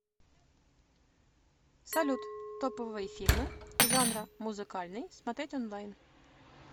салют топовые фильмы жанра музыкальный смотреть онлайн